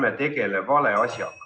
Ärme tegeleme vale asjaga.